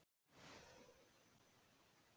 Framhjá því verður ekkert komist.